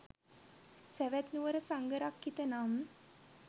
සැවැත් නුවර සංඝරක්ඛිත නම්